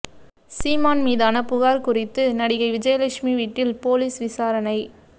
சீமான் மீதான புகார் குறித்து நடிகை விஜயலட்சுமி வீட்டில் போலீஸ் விசாரணை